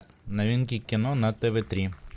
новинки кино на тв три